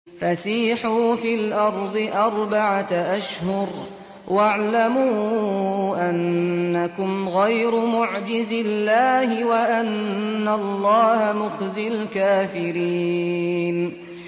فَسِيحُوا فِي الْأَرْضِ أَرْبَعَةَ أَشْهُرٍ وَاعْلَمُوا أَنَّكُمْ غَيْرُ مُعْجِزِي اللَّهِ ۙ وَأَنَّ اللَّهَ مُخْزِي الْكَافِرِينَ